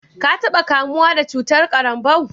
ka taba kamuwa da cutar karanbou?